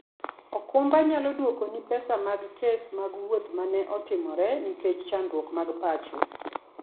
okumba nyalo dwokoni pesa mag kes mag wuoth ma ne otimore nikech chandruok mag pacho.